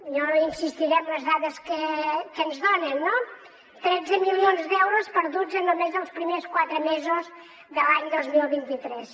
jo no insistiré en les dades que ens donen no tretze milions d’euros perduts en només els primers quatre mesos de l’any dos mil vint tres